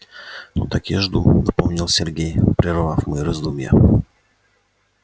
ну так я жду напомнил сергей прервав мои раздумья